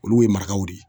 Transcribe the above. Olu ye marakaw de ye